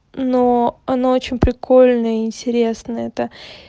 но оно очень прикольно и интересно это